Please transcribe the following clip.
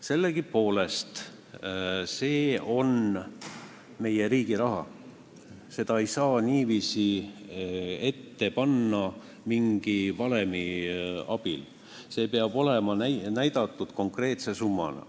Sellegipoolest, see on meie riigi raha, seda ei saa niiviisi ette kirjutada mingi valemi näol, see peab kirjas olema konkreetse summana.